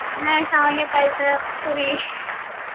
ಆಹ್ ಶಾವಿಗೆ ಪಾಯ್ಸಾ , ಪುರಿ